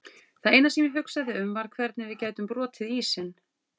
Það eina sem ég hugsaði um var hvernig við gætum brotið ísinn.